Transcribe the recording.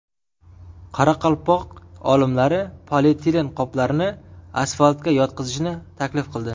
Qoraqalpoq olimlari polietilen qoplarni asfaltga yotqizishni taklif qildi.